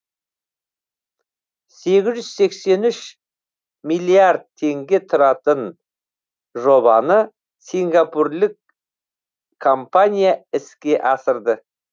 сегіз жүз сексен үш миллиард теңге тұратын жобаны сингапурлік компания іске асырды